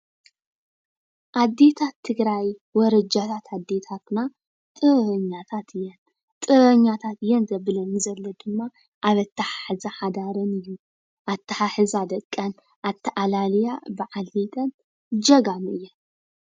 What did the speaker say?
ኣዴታት ትግራይ ወረጃታት ኣዴታትና ጥበበኛታት እየን ጥበበኛታት እየን ዘበኒ ዘሎ ድማ ኣብ ኣተሓሕዛ ሓዳረን ኣተሓሕዛ ደቀን ኣተኣላልያ በዓል ቤተን ጀጋኑ እየን ።